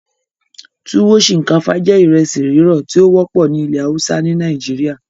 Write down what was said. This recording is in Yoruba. Tuwo ṣinkafa jẹ́ ìresi rirọ ti o wọpọ ni ìlẹ hausa ni Nàìjíríà